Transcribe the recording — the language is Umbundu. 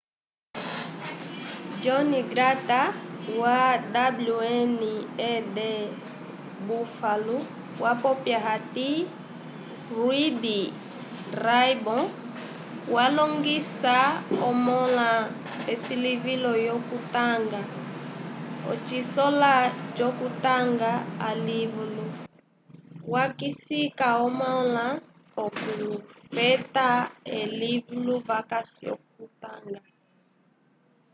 john grant wa wned buffalo wapopya hati reading raibow walongisa omãla esilivilo lyokutanga ocisola c’okutanga alivulu – wakisika omãla okufeta elivulu vakasi l’okutanga